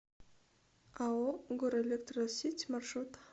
ао горэлектросеть маршрут